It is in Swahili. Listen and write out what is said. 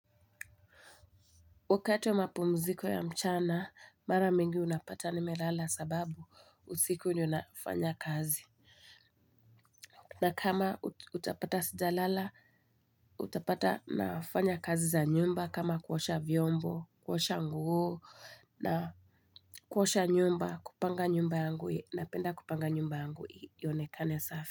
Wakati wa mapumziko ya mchana, mara mingi unapata nimelala sababu usiku ndio nafanya kazi. Na kama utapata sijalala, utapata nafanya kazi za nyumba, kama kuosha vyombo, kuosha nguo, na kuosha nyumba, kupanga nyumba yangu, napenda kupanga nyumba yangu, ionekane safi.